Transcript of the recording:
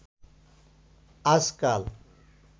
আজকাল